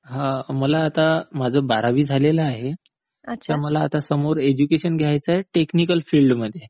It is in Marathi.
मला आता माझं बारावी झालेलं आहे. मला आता समोर एज्युकेशन घ्यायचं आहे टेक्निकल फिल्ड मध्ये